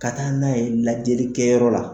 Ka taa n'a ye lajɛlikɛyɔrɔ la.